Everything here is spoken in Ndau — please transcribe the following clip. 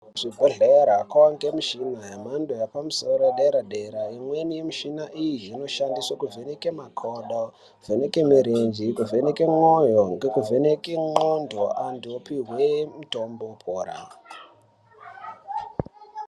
Kuzvibhedhlera kwakuwanikwa mishina yedera dera yemhando yepamusoro imweni yemushina iyi inoshandiswa kuvheneka makodo kuvheneka murenje kuvheneka moyo nekuvheneka ndxondo antu opihwe mitombo opora.